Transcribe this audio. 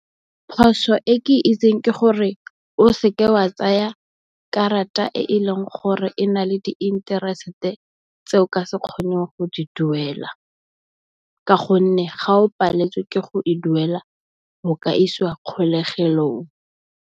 Phoso e ke itseng ke gore o seke wa tsaya karata e e leng gore e na le di interest tse o ka se kgoneng go di duela. Ka gonne, ga o paletswe ke go e duela o ka isiwa kgolegelong.